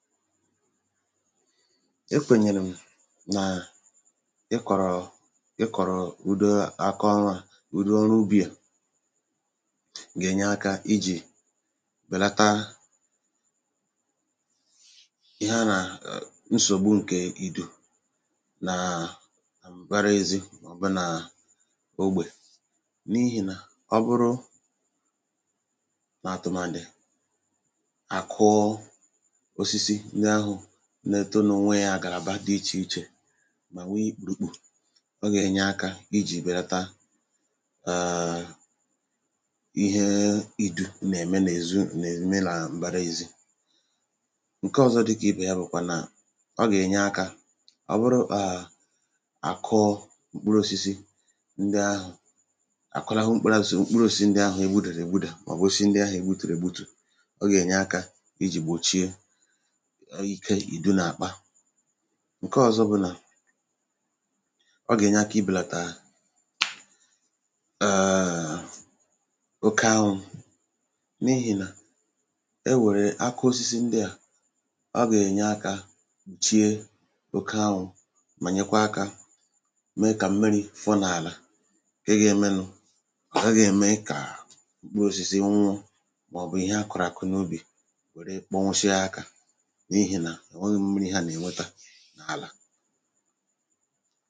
ekwènyèrè m naa ị kọ̀rọ̀ ị kọ̀rọ̀ ụdọ akọ ọnwȧ ụ̀dụ ọrụ ubì à gà-ènye akȧ ijì bèlata ihe a nà ẹ̀ nsògbu ǹkẹ̀ idù nàà m̀gbara ėzi mọ̀bụ nàà ogbè n’ihì nà ọ bụrụ nà atụ̀màdị̀ ndị ahụ̀ nne to n’ònwe yȧ àgàràba dị ichè ichè mà nwee yȧ ikpùrùkpù ọ gà-ènye akȧ ijì bèrata ààà ihe idu̇ nà-ème n’èzu nà èru mee nà m̀bara ezi ǹke ọ̇zọ̇ dịkà ibè ya bụ̀ kwà nà ọ gà-ènye akȧ ọ bụrụ kà àkụọ mkpụrụ osisi ndị ahụ̀ akụrahụ mkpụrụ asì mkpụrụ osisi ndị ahụ̀ egbudèrè gbudà mà ọ bụ̀ si ndị ahụ̀ ègbutùrù ègbutù ọ gà-ènye akȧ ijì gbòchie ǹke ọ̀zọ bụ nà ọ gà-ènye aka ibèlàtà èèè oke ahụ̀ n’ihì nà e nwèrè akaosisi ndịà ọ gà-ènye akȧ chiė oke ahụ̀ mà nyekwa akȧ mee kà mmiri̇ fọnààlà ǹke ga-emenu ọ̀hà ga-ème ikà mkpụrụsìsì nwụ̇ màọ̀bụ̀ ihe akụ̀rụ̀kụ̀ n’ubì n’àlà